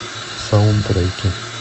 саундтреки